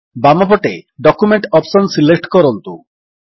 ବାମପଟେ document option select କରନ୍ତୁ